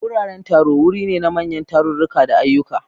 Wuraren taro wuri ne na manyan tarurruka da ayyuka.